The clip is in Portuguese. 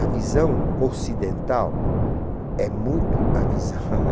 A visão ocidental é muito a visã haha